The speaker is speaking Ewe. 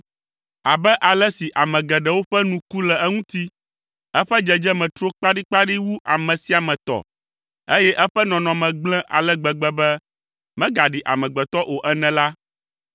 Abe ale si ame geɖewo ƒe nu ku le eŋuti, eƒe dzedzeme tro kpaɖikpaɖi wu ame sia ame tɔ, eye eƒe nɔnɔme gblẽ ale gbegbe be, megaɖi amegbetɔ o ene la,